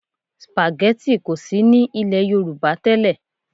Spaghetti kò sí ní ilẹ̀ Yorùbá tẹ́lẹ̀